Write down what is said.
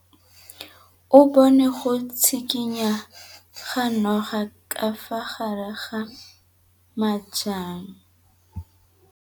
O bone go tshikinya ga noga ka fa gare ga majang.